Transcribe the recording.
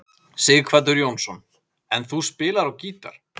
Sighvatur Jónsson: En þú spilar á gítar?